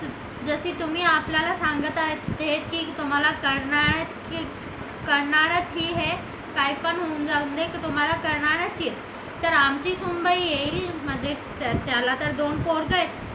जशी तुम्ही आपल्याला सांगत आहेत हे की तुम्हाला करणार आहेत होऊन जाऊ दे तर आमची सुनबाई येईल म्हणजे त्याला तर दोन पोरं आहेत